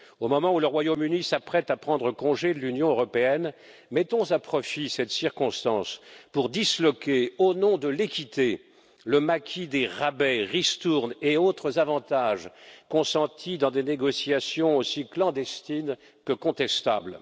Au moment où le Royaume Uni s'apprête à prendre congé de l'Union européenne, mettons à profit cette circonstance pour disloquer, au nom de l'équité, le maquis des rabais, ristournes et autres avantages consentis dans des négociations aussi clandestines que contestables.